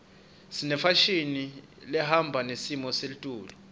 senefashini lehamba nesimo seletulu